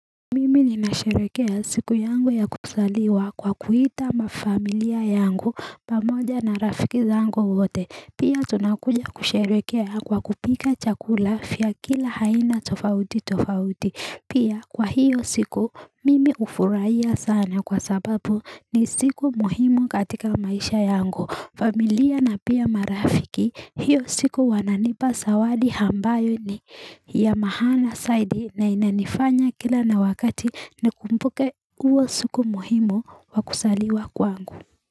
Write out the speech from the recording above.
Mimi ninasherekea siku yangu ya kusaliwa kwa kuita mafamilia yangu pamoja na rafiki zangu wote pia tunakuja kusherekea kwa kupika chakula fya kila haina tofauti tofauti pia kwa hiyo siku mimi ufuraiya sana kwa sababu ni siku muhimu katika maisha yangu familia na pia marafiki, hiyo siku wananipa sawadi hambayo ni ya mahana saidi na inanifanya kila na wakati nikumbuke uwo suku muhimu wa kusaliwa kwangu.